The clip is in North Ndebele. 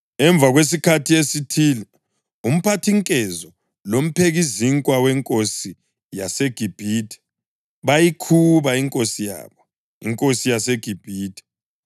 Emva kwesikhathi esithile umphathinkezo lomphekizinkwa wenkosi yaseGibhithe bayikhuba inkosi yabo, inkosi yaseGibhithe.